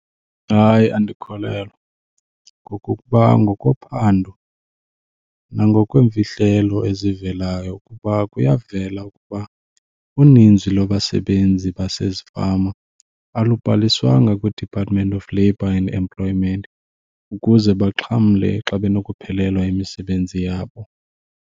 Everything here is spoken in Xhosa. Hayi andikholelwa, ngokokuba ngokophando nangokweemfihlelo ezivelayo ukuba kuyavela ukuba uninzi lwabasebenzi basezifama alubhaliswanga kwiDepartment of Labor and Employment ukuze baxhamle xa benokuphelelwa yimisebenzi yabo.